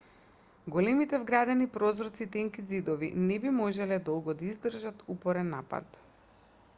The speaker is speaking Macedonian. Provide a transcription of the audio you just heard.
големите вградени прозорци и тенките ѕидови не би можеле долго да издржат упорен напад